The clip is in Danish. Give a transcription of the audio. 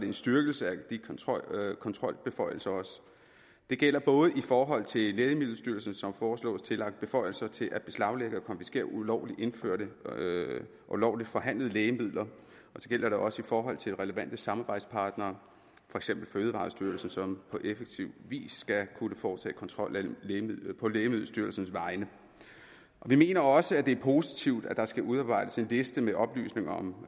en styrkelse af kontrolbeføjelserne det gælder både i forhold til lægemiddelstyrelsen som foreslås tillagt beføjelser til at beslaglægge og konfiskere ulovligt indførte og ulovligt forhandlede lægemidler og så gælder det også i forhold til relevante samarbejdspartnere for eksempel fødevarestyrelsen som på effektiv vis skal kunne foretage kontrol på lægemiddelstyrelsens vegne vi mener også at det er positivt at der skal udarbejdes en liste med oplysninger om